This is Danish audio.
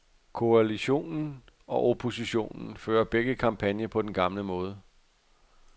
Koalitionen og oppositionen fører begge kampagne på den gamle måde.